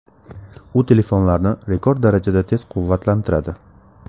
U telefonlarni rekord darajada tez quvvatlantiradi.